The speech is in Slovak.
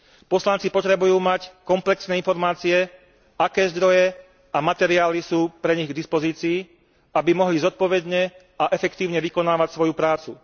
Poslanci potrebujú mať komplexné informácie, aké zdroje a materiály sú pre nich k dispozícii, aby mohli zodpovedne a efektívne vykonávať svoju prácu.